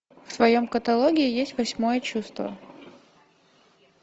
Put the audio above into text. в твоем каталоге есть восьмое чувство